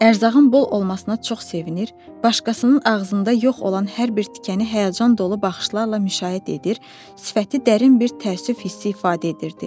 Ərzağın bol olmasına çox sevinir, başqasının ağzında yox olan hər bir tikəni həyəcan dolu baxışlarla müşahidə edir, sifəti dərin bir təəssüf hissi ifadə edirdi.